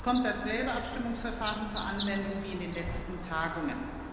Es kommt dasselbe Abstimmungsverfahren zur Anwendung wie in den letzten Tagungen.